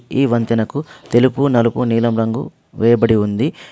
ఈ వంతెనకు తెలుపు నలుపు నీలం రంగు వేయబడి ఉంది.